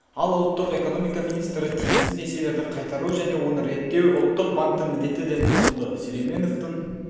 ал ұлттық экономика министрі тиімсіз несиелерді қайтару және оны реттеу ұлттық банктің міндеті деп құтылды сүлейменовтің